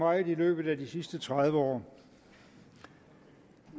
meget i løbet af de sidste tredive år